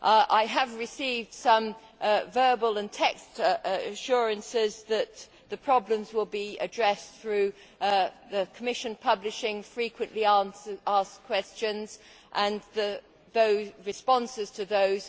I have received some verbal and written assurances that the problems will be addressed through the Commission publishing frequently asked questions and the responses to those.